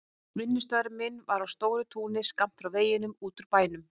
Vinnustaður minn var á stóru túni skammt frá veginum út úr bænum.